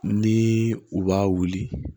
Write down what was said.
Ni u b'a wuli